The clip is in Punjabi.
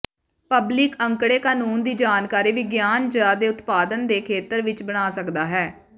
ਪਬਲਿਕ ਅੰਕੜੇ ਕਾਨੂੰਨ ਦੀ ਜਾਣਕਾਰੀ ਵਿਗਿਆਨ ਜ ਦੇ ਉਤਪਾਦਨ ਦੇ ਖੇਤਰ ਵਿਚ ਬਣਾ ਸਕਦਾ ਹੈ